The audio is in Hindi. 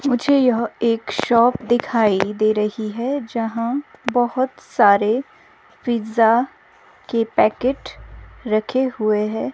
मुझे यह एक शॉप दिखाई दे रही है जहां बहुत सारे पिज़्ज़ा के पैकेट रखे हुए हैं.